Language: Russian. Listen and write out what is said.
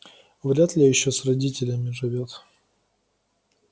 вряд-ли ещё с родителями живёт